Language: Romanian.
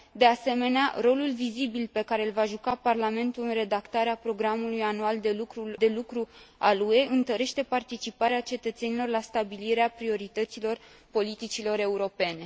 De asemenea, rolul vizibil pe care l va juca Parlamentul în redactarea programului anual de lucru al UE întărește participarea cetățenilor la stabilirea priorităților politicilor europene.